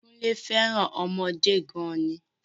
Kúnlé féràn ọmọdé gan ni